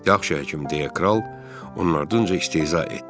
Yaxşı, həkim, – deyə kral onun ardınca istehza etdi.